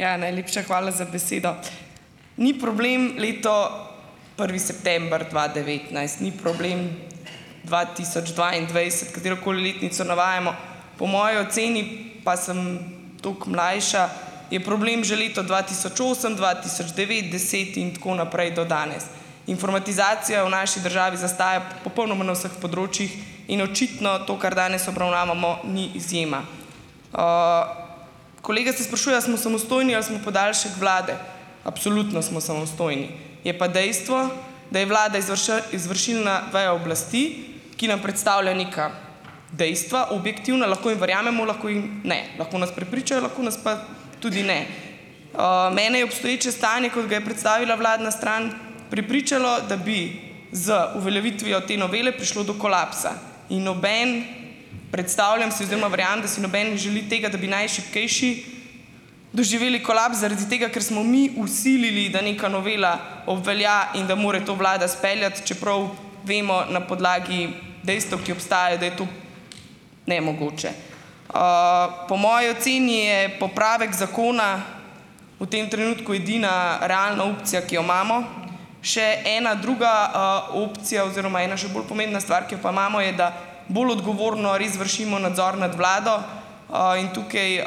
Ja. Najlepša hvala za besedo. Ni problem leto, prvi september dva devetnajst, ni problem dva tisoč dvaindvajset katerokoli letnico navajamo, po moji oceni, pa sem tako mlajša, je problem že leto dva tisoč osem, dva tisoč devet, deset in tako naprej, do danes. Informatizacija v naši državi zastaja popolnoma na vseh področjih in očitno to, kar danes obravnavamo, ni izjema. Kolega se sprašuje, a smo samostojni ali smo podaljšek Vlade. Absolutno smo samostojni. Je pa dejstvo, da je Vlada izvršilna veja oblasti, ki nam predstavlja neka dejstva, objektivna, lahko jim verjamemo, lahko jim ne, lahko nas prepričajo, lahko nas pa tudi ne. Mene je obstoječe stanje, kot ga je predstavila vladna stran, prepričalo, da bi z uveljavitvijo te novele prišlo do kolapsa in noben, predstavljam si oziroma verjamem, da si nobeden ne želi tega, da bi najšibkejši doživeli kolaps zaradi tega, ker smo mi vsilili, da neka novela obvelja in da mora to Vlada speljati, čeprav vemo, na podlagi dejstev, ki obstajajo, da je to nemogoče. Po moji oceni je popravek zakona. V tem trenutku edina realna opcija, ki jo imamo. Še ena druga opcija oziroma ena še bolj pomembna stvar, ki jo pa imamo, je, da bolj odgovorno res vršimo nadzor nad Vlado in tukaj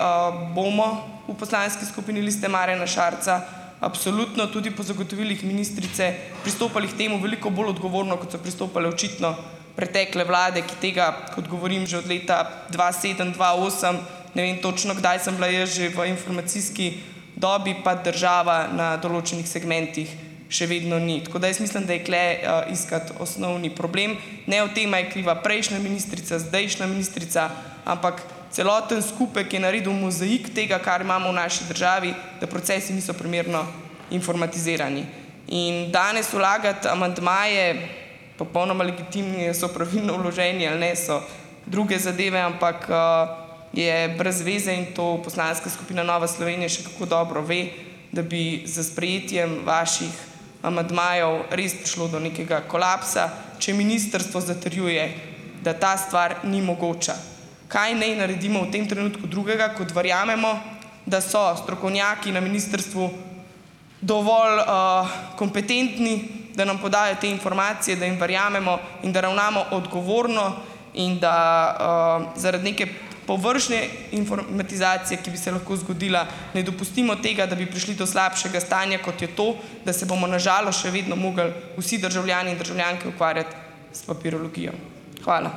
bomo v poslanski skupini Liste Marjana Šarca absolutno, tudi po zagotovilih ministrice, pristopali k temu veliko bolj odgovorno, kot so pristopale očitno pretekle Vlade, ki tega, kot govorim že od leta dva sedem, dva osem, ne vem točno, kdaj sem bila jaz že v informacijski dobi, pa država na določenih segmentih še vedno ni, tako da jaz mislim, da je tule iskati osnovni problem, ne o tem, a je kriva prejšnja ministrica, zdajšnja ministrica, ampak celoten skupek je naredil mozaik tega, kar imamo v naši državi, da procesi niso primerno informatizirani. In danes vlagati amandmaje, popolnoma legitimni a so pravilno vloženi ali ne, so druge zadeve, ampak je brez veze in to poslanska skupina Nova Slovenija še kako dobro ve, da bi s sprejetjem vaših amandmajev res prišlo do nekega kolapsa, če ministrstvo zatrjuje, da ta stvar ni mogoča. Kaj naj naredimo v tem trenutku drugega, kot verjamemo, da so strokovnjaki na ministrstvu dovolj kompetentni, da nam podajo te informacije, da jim verjamemo in da ravnamo odgovorno, in da zaradi neke površne informatizacije, ki bi se lahko zgodila, ne dopustimo tega, da bi prišli do slabšega stanja, kot je to, da se bomo na žalost še vedno morali vsi državljani in državljanke ukvarjati s papirologijo. Hvala.